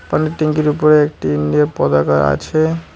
জলের ট্যাংকির ওপরে একটি পতাকা আছে।